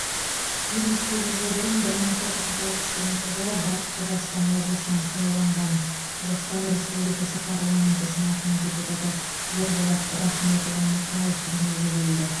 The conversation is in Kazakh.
елу сегіз жыл бұрын бір мың тоғыз жүз алпыс бірінші батыс қазақстан облысынан сайланған қазақстан республикасы парламенті сенатының депутаты ерболат рахметұлы мұқаев дүниеге келді